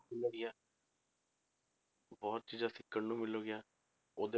ਵਧੀਆ ਬਹੁਤ ਚੀਜ਼ਾਂ ਸਿੱਖਣ ਨੂੰ ਮਿਲਣਗੀਆਂ ਉਹਦੇ